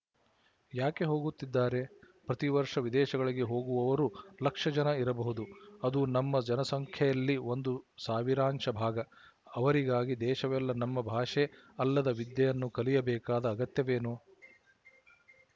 ಯಾಕೆ ಹೋಗುತ್ತಿದ್ದಾರೆ ಪ್ರತಿ ವರ್ಶ ವಿದೇಶಗಳಿಗೆ ಹೋಗುವವರು ಲಕ್ಷ ಜನ ಇರಬಹುದು ಅದು ನಮ್ಮ ಜನಸಂಖ್ಯೆಯಲ್ಲಿ ಒಂದು ಸಾವಿರಾಂಶ ಭಾಗ ಅವರಿಗಾಗಿ ದೇಶವೆಲ್ಲ ನಮ್ಮ ಭಾಷೆ ಅಲ್ಲದ ವಿದ್ಯೆಯನ್ನು ಕಲಿಯಬೇಕಾದ ಅಗತ್ಯವೇನು